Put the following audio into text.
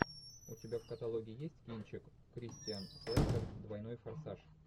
у тебя в каталоге есть кинчик кристиан слэйтер двойной форсаж